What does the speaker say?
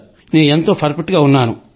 నేను ఎంతో పర్ఫెక్ట్ గా ఉన్నాను